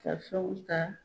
Ka fɛnw ta